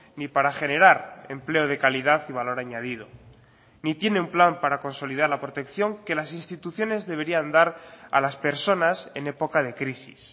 ni para generar empleo de calidad y valor añadido ni tiene un plan para consolidar la protección que las instituciones deberían dar a las personas en época de crisis